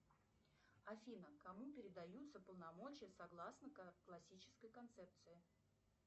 афина кому передаются полномочия согласно классической концепции